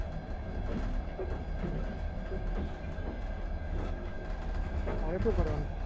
તારે શું કરવાનું?